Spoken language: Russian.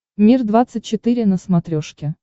мир двадцать четыре на смотрешке